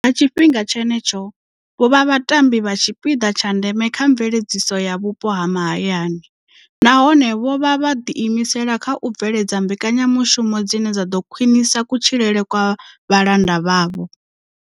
Nga tshifhinga tshenetsho, vho vha vhatambi vha tshipiḓa tsha ndeme kha mveledziso ya vhupo ha mahayani, nahone vho vha vho ḓiimisela kha u bveledza mbekanyamushumo dzine dza ḓo khwiṋisa kutshilele kwa vhalanda vhavho.